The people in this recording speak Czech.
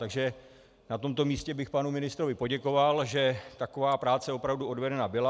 Takže na tomto místě bych panu ministrovi poděkoval, že taková práce opravdu odvedena byla.